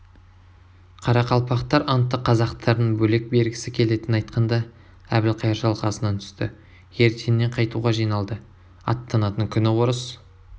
қарақалпақтар антты қазақтардың бөлек бергісі келетінін айтқанда әбілқайыр шалқасынан түсті ертеңіне қайтуға жиналды аттанатын күні орыс